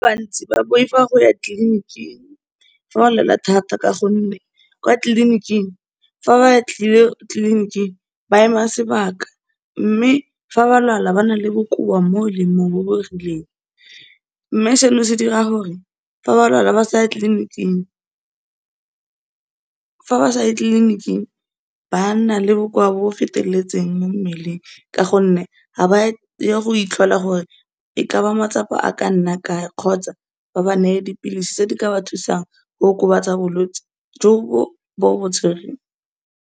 Ba bantsi ba boifa go ya tleliniking, fa o lwala thata, ka gonne kwa tleliniking, fa ba tlile tleliniking ba ema sebaka, mme fa ba lwala ba na le bokoa mo le mo, bo bo rileng, mme se no se dira gore fa ba lwala ba sa ya tleliniking. Fa ba sa ye tleliniking, ba nna le bokoa bo bo feteletseng mo mmeleng, ka gonne ha ba ye go itlhola gore e ka ba matsapa a ka nna kae, kgotsa ba ba neye dipilisi tse di ka ba thusang go okobatsa bolwetsi jo bo bo tswereng.